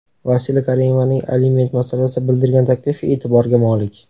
Vasila Karimovaning aliment masalasida bildirgan taklifi e’tiborga molik.